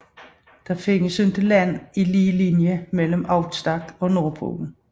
Der findes ikke land i lige linje mellem Out Stack og Nordpolen